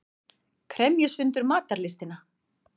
Kremji sundur matarlystina.